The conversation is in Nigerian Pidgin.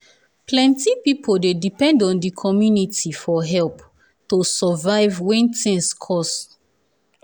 plenti pipo dey depend on d community for help to survive when tins cost.